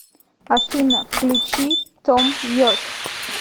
афина включи том йорк